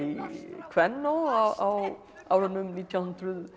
Kvennó á árunum nítján hundruð